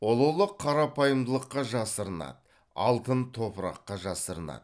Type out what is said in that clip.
ұлылық қарапайымдылыққа жасырынады алтын топыраққа жасырынады